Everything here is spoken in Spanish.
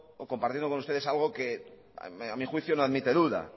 o compartiendo con ustedes algo que a mi juicio no admite duda